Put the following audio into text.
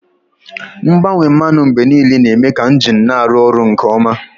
Mgbanwe mmanụ mgbe niile na-eme ka injin na-arụ ọrụ nke ọma.